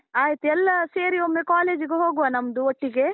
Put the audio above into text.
ಆಯ್ತು, ಎಲ್ಲ ಸೇರಿ ಒಮ್ಮೆ college ಗೆ ಹೋಗುವ ನಮ್ದು ಒಟ್ಟಿಗೆ.